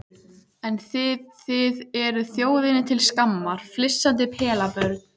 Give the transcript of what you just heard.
En þið þið eruð þjóðinni til skammar, flissandi pelabörn.